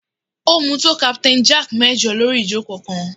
Ó mu tó Captain Jack mẹ́jọ lórí ìjókòó kan